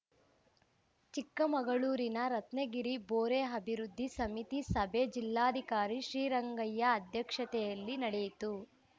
ಚಿಕ್ಕಮಗಳೂರಿನ ರತ್ನಗಿರಿ ಬೋರೆ ಅಭಿವೃದ್ಧಿ ಸಮಿತಿ ಸಭೆ ಜಿಲ್ಲಾಧಿಕಾರಿ ಶ್ರೀರಂಗಯ್ಯ ಅಧ್ಯಕ್ಷತೆಯಲ್ಲಿ ನಡೆಯಿತು